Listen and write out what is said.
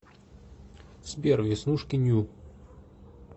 сбер веснушки ню